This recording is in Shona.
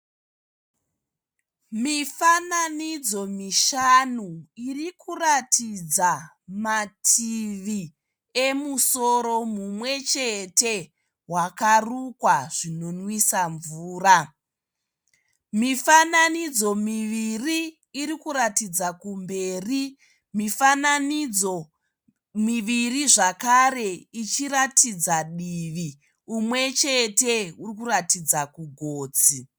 Mifananidzo mishanu iri kuratidza mativi emusoro mumwe chete wakarukwa zvinomwisa mvura. Mifananidzo miviri iri kuratidza kumberi. Mifananidzo miviri zvakare ichiratidza divi. Umwe chete uri kuratidza kugotsi.